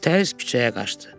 Təəccübü küçəyə qaçdı.